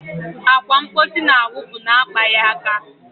Akwa mposi na-awụpụ na-akpaghị aka.